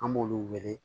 An b'olu wele